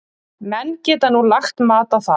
Menn geta nú lagt mat á það.